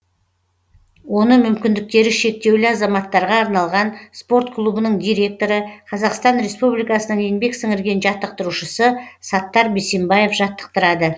оны мүмкіндіктері шектеулі азаматтарға арналған спорт клубының директоры қазақстан республикасының еңбек сіңірген жаттықтырушысы саттар бейсембаев жаттықтырады